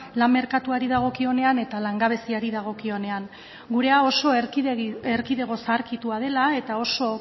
lan merkatuari dagokionean eta langabeziari dagokionean gurea oso erkidego zaharkitua dela eta oso